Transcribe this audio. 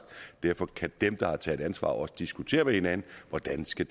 derfor kan dem der har taget ansvar også diskutere med hinanden hvordan det skal